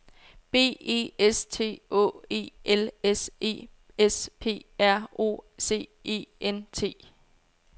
B E S T Å E L S E S P R O C E N T